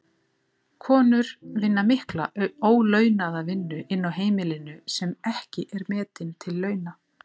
Konur vinna mikla ólaunaða vinnu inni á heimilinu sem ekki er metin til launa.